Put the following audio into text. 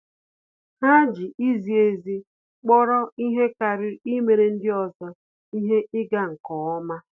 Há jì izi ezi kpọ́rọ́ ihe kàrị́rị́ íméré ndị ọzọ ihe ịga nke ọma.